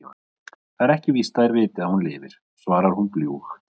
Það er ekki víst að þeir viti að hún lifir, svarar hún bljúg.